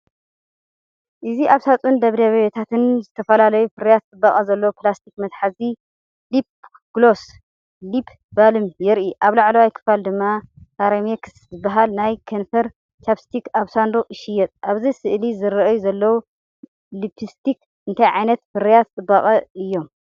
እዚ ኣብ ሳጹን ደብዳቤታትን ዝተፈላለዩ ፍርያት ጽባቐ ዘለዎ ፕላስቲክ መትሓዚን ልፕ ግሎስ/ሊፕ ባልም የርኢ። ኣብ ላዕለዋይ ክፋል ድማ ካርሜክስ ዝበሃል ናይ ከንፈር ቻፕስቲክ ኣብ ሳንዱቕ ይሽየጥ። ኣብዚ ስእሊ ዝርኣዩ ዘለዉ ልፕስቲክ እንታይ ዓይነት ፍርያት ጽባቐ እዮም?